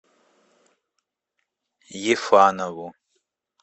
ефанову